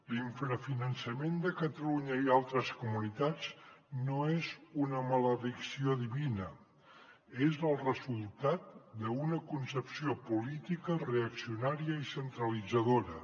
l’infrafinançament de catalunya i altres comunitats no és una maledicció divina és el resultat d’una concepció política reaccionària i centralitzadora